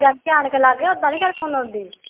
ਜਾਂਦੀ ਆਣ ਕੇ ਲਾਗੇ ਓਦਾਂ ਨੀ ਕਿਸੇ ਨੂੰ ਬਲਾਉਂਦੀ